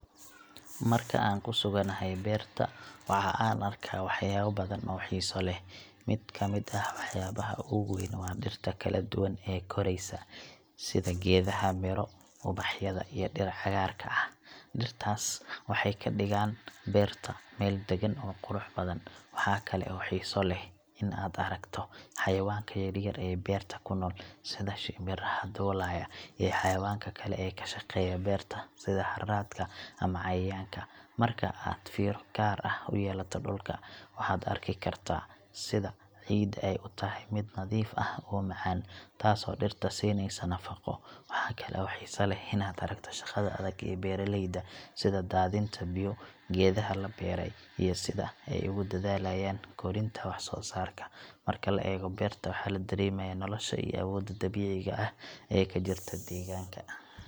Marka aan ku suganahay beerta, waxa aan arkaa waxyaabo badan oo xiiso leh. Mid ka mid ah waxyaabaha ugu weyn waa dhirta kala duwan ee koraysa, sida geedaha midho, ubaxyada, iyo dhir cagaarka leh. Dhirtaas waxay ka dhigaan beerta meel deggan oo qurux badan. Waxa kale oo xiiso leh in aad aragto xayawaanka yaryar ee beerta ku nool, sida shimbiraha duulaya, iyo xayawaanka kale ee ka shaqeeya beerta sida harraadka ama cayayaanka. Marka aad fiiro gaar ah u yeelato dhulka, waxaad arki kartaa sida ciidda ay u tahay mid nadiif ah oo macaan, taasoo dhirta siinaysa nafaqo. Waxa kale oo xiiso leh inaad aragto shaqada adag ee beeralayda, sida daadinta biyo, geedaha la beeray, iyo sida ay ugu dadaalayaan korinta wax-soo-saarka. Marka la eego beerta, waxaa la dareemayaa nolosha iyo awoodda dabiiciga ah ee ka jirta deegaanka.